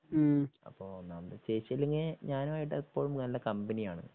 ഉം അപ്പൊ ഒന്നാമത് ചേച്ചിയെങ്കിൽ ഞാനുമായിട്ട് എപ്പഴും നല്ല കമ്പനിയാണ്